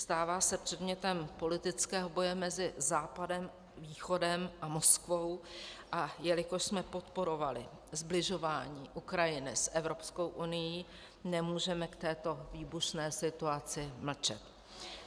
Stává se předmětem politického boje mezi Západem, Východem a Moskvou, a jelikož jsme podporovali sbližování Ukrajiny s Evropskou unií, nemůžeme k této výbušné situaci mlčet.